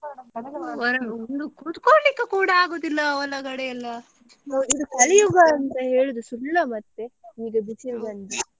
ಒಂದು ಕುತ್ಕೊಳ್ಳಿಕ್ಕೂ ಕೂಡ ಆಗುದಿಲ್ಲ ಒಳಗಡೆ ಎಲ್ಲ ಇದು ಕಲಿಯುಗ ಅಂತ ಹೇಳುದು ಸುಳ್ಳ ಮತ್ತೆ ಈಗ ಬಿಸಿಲು ಬಂದು.